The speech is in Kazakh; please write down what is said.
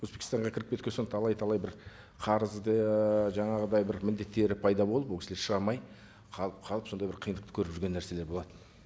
өзбекстанға кіріп кеткен соң талай талай бір қарызды жаңағыдай бір міндеттері пайда болып ол кісілер шыға алмай қалып қалып сондай бір қиындықты көріп жүрген нәрселер болатын